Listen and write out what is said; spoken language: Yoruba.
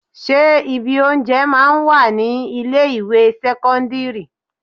Ṣé ibi oúnjẹ máa ń wà ní ilé ìwé sẹ́kọ́ńdírì?